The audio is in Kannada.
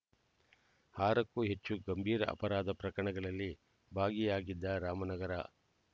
ಆರಕ್ಕೂ ಹೆಚ್ಚು ಗಂಭೀರ ಅಪರಾಧ ಪ್ರಕರಣಗಳಲ್ಲಿ ಭಾಗಿಯಾಗಿದ್ದ ರಾಮನಗರ